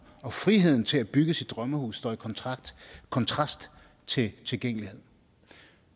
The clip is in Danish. og friheden til at bygge sit drømmehus står i kontrast kontrast til tilgængelighed